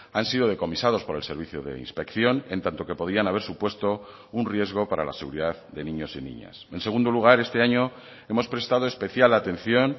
han sido decomisados por el servicio de inspección en tanto que podían haber supuesto un riesgo para la seguridad de niños y niñas en segundo lugar este año hemos prestado especial atención